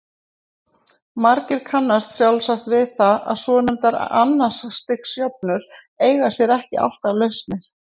Margir kannast sjálfsagt við það að svonefndar annars stigs jöfnur eiga sér ekki alltaf lausnir.